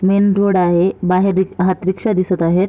Main road आहे बाहेर एक हात रिक्षा दिसत आहे.